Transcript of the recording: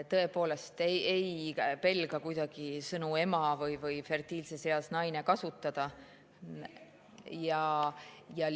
Tõepoolest, ma ei pelga kuidagi kasutada sõna "ema" või "fertiilses eas naine".